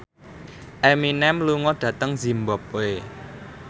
Eminem lunga dhateng zimbabwe